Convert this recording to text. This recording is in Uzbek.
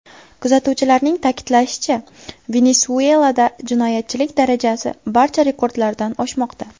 Kuzatuvchilarning ta’kidlashicha, Venesuelada jinoyatchilik darajasi barcha rekordlardan oshmoqda.